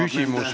Küsimus, palun!